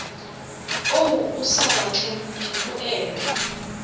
o o sa batleng dipoelo